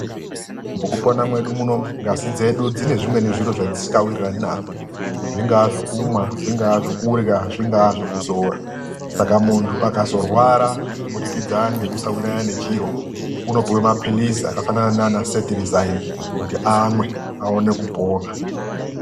Mukupona mwedu munomu ngazi dzedu dzine zvimweni zviro zvedzisikawirirani nazvo. Zvingaa zvokumwa, zvingaa zvokurya, zvingaa zvokuzora. Saka muntu akazorwara kubudikidza ngekusawirirana nechiro unopuwa mapirizi akafanana naana Cetirizine kuti amwe, aone kupona.